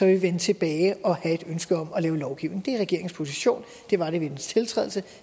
vi vende tilbage og have et ønske om at lave lovgivning det er regeringens position det var det ved dens tiltrædelse